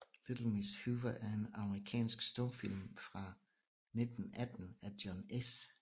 Little Miss Hoover er en amerikansk stumfilm fra 1918 af John S